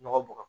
Nɔgɔ bɔgɔ